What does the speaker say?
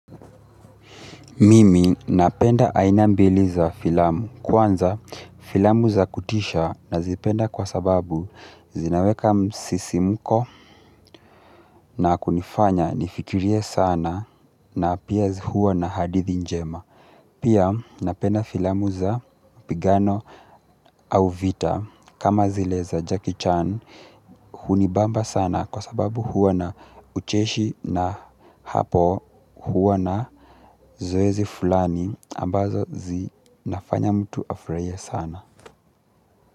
Mimi napenda aina mbili za filamu kwanza filamu za kutisha nazipenda kwa sababu zinaweka msisimko na kunifanya nifikirie sana na pia hua na hadithi njema. Pia napenda filamu za mpigano au vita kama zile za Jackie Chan hunibamba sana kwa sababu huwa na ucheshi na hapo huwa na zoezi fulani ambazo zinafanya mtu afurahie sana.